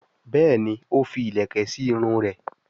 Béèni o fí ilẹkẹ sí Irun rẹ.